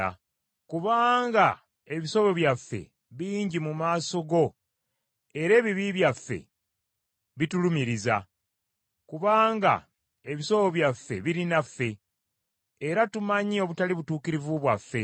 Kubanga ebisobyo byaffe bingi mu maaso go era ebibi byaffe bitulumiriza, kubanga ebisobyo byaffe biri naffe, era tumanyi obutali butuukirivu bwaffe;